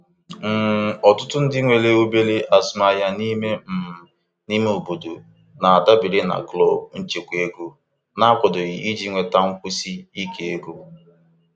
um Ọtụtụ ndị nwe obere azụmaahịa n'me um ime obodo na-adabere na klọb nchekwa ego na-akwadoghị iji nweta nkwụsi ike ego.